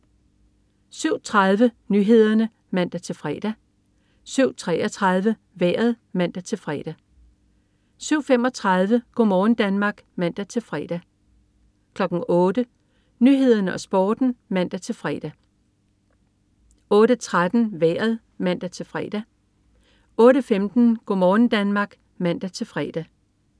07.30 Nyhederne (man-fre) 07.33 Vejret (man-fre) 07.35 Go' morgen Danmark (man-fre) 08.00 Nyhederne og Sporten (man-fre) 08.13 Vejret (man-fre) 08.15 Go' morgen Danmark (man-fre)